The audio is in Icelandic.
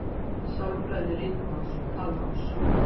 Sálfræði ritmáls og talmáls.